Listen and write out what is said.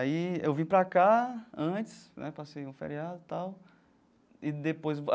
Aí eu vim para cá antes né, passei o feriado e tal e depois a.